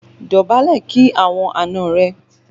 Dọ̀bálẹ̀ kí àwọn àna rẹ!